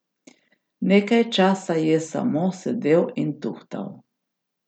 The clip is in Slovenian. Nekaj časa je samo sedel in tuhtal.